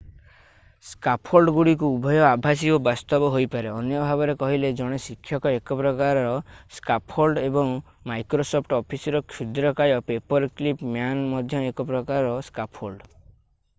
ସ୍କାଫୋଲ୍ଡଗୁଡ଼ିକ ଉଭୟ ଆଭାସୀ ଓ ବାସ୍ତବ ହୋଇପାରେ ଅନ୍ୟ ଭାବରେ କହିଲେ ଜଣେ ଶିକ୍ଷକ ଏକ ପ୍ରକାରର ସ୍କାଫୋଲ୍ଡ ଏବଂ ମାଇକ୍ରୋସଫ୍ଟ ଅଫିସର କ୍ଷୁଦ୍ରକାୟ ପେପରକ୍ଲିପ୍ ମ୍ୟାନ୍ ମଧ୍ୟ ଏକ ପ୍ରକାରର ସ୍କାଫୋଲ୍ଡ